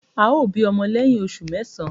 Ao bi omo leyin osu mesan